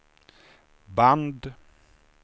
band